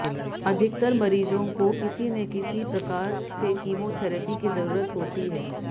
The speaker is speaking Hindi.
अधिकतर मरीजों को किसी ने किसी प्रकार से कीमोथैरेपी की जरूरत होती है